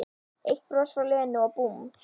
Eitt bros frá Lenu og búmm